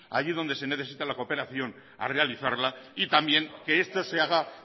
allí donde se necesita la cooperación a realizarla y también que esto se haga